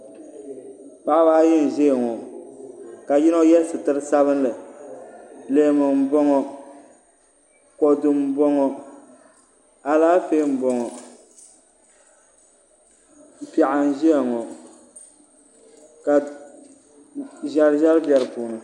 Paɣaba ayi n ʒiya ŋo ka yino yɛ sitiri sabinli leemu n boŋo kodu n boŋo alaafee n boŋo piɛɣu n ʒiya ŋo ka ʒɛri ʒɛri bɛ di puuni